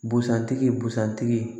Busan tigi busan tigi